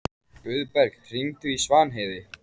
Guðberg, hringdu í Svanheiði.